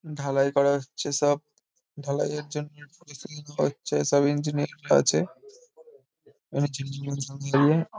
ঢালাই করা হচ্ছে সব। ঢালাইয়ের জন্য সব ইঞ্জিনিয়ারিং -রা আছে।